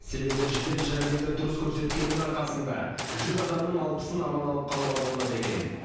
себебі жедел жәрдемді дұрыс көрсеткеннің арқасында жүз адамның алпысын аман алып қалуға болады екен